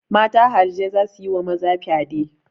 Mata harijai za su yi wa maza fyade.